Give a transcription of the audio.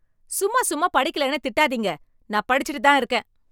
சும்மா சும்மா படிக்கலைன்னு திட்டாதீங்க. நான் படிச்சிட்டு தான் இருக்கேன்.